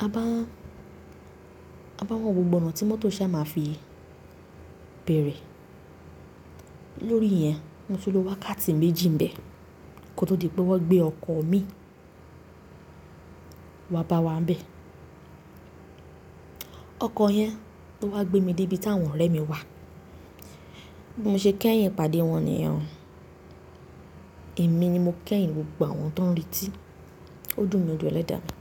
Mo bá ń, a bá ń wá gbogbo oná tí mọ́tò sá máa fi bèrè. Lórí iyẹn, mo ti lo wákàtí méjì ń bẹ̀ kó tó di pé wọ́n gbé ọkọ̀ mi i wá bá wa ń bẹ̀. Ọkọ̀ yẹn ló wá gbé mi dé bi tàwọn ọ̀rẹ́ mi wà. Mo ṣe kẹ́yìn ìpàdé wọn nìyẹn. Èmi ni mo kẹ́yìn gbogbo àwọn tó ń retí. Ó dùn mi, o dùn elẹ́dà mi.